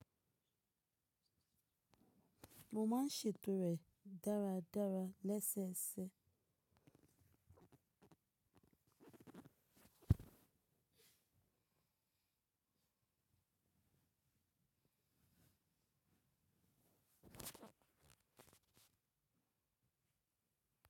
Mo máa ń ṣètò rẹ̀ dáradára lẹ́sẹẹsẹ.